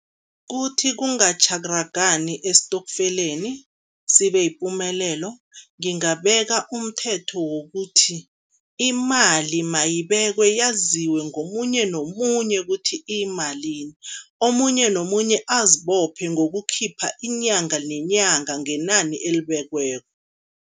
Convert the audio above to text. Kuthi kungatjharagani esitokfeleni, sibe yipumelelo, ngingabeka umthetho wokuthi, imali mayibekwe yaziwe ngomunye nomunye ukuthi iyimalini. Omunye nomunye azibophe ngokukhipha inyanga nenyanga ngenani elibekiweko.